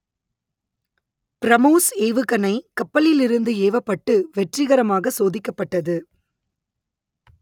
பிரமோஸ் ஏவுகணை கப்பலிலிருந்து ஏவப்பட்டு வெற்றிகரமாக சோதிக்கப்பட்டது